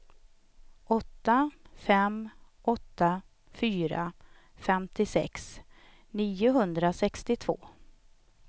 åtta fem åtta fyra femtiosex niohundrasextiotvå